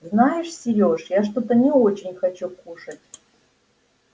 знаешь серёж я что-то не очень хочу кушать